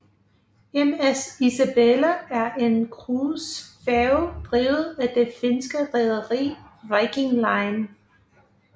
MS Isabelle er en cruisefærge drevet af det finske rederi Viking Line